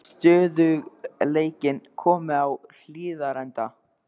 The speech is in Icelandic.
Er stöðugleikinn kominn á Hlíðarenda?